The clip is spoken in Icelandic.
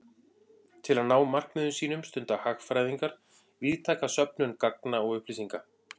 Til að ná markmiðum sínum stunda hagfræðingar víðtæka söfnun gagna og upplýsinga.